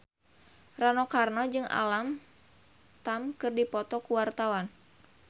Rano Karno jeung Alam Tam keur dipoto ku wartawan